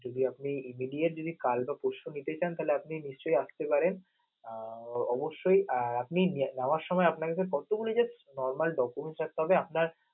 যদি আপনি imideate কাল বা পরশু নিতে চান, তালি আপনি নিশ্চয় আসতে পারেন, আহ অবশ্যই আহ আপনি যাওয়ার সময় কষ্ট করে just normal documents একটা থাকতে হবে আপনার